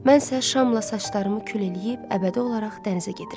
Mən isə şamla saçlarımı kül eləyib əbədi olaraq dənizə gedirəm.